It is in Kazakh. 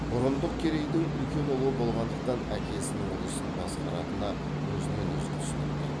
бұрындық керейдің үлкен ұлы болғандықтан әкесінің ұлысын басқаратына өзінен өзі түсінікті